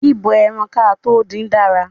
Bíbọ ẹran kátó dín dára.